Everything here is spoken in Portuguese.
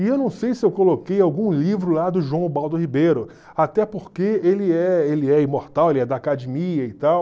E eu não sei se eu coloquei algum livro lá do João Ubaldo Ribeiro, até porque ele é ele é imortal, ele é da academia e tal.